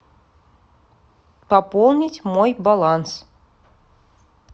пополнить мой баланс